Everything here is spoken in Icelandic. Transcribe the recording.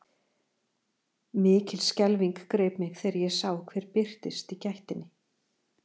Mikil skelfing greip mig þegar ég sá hver birtist í gættinni.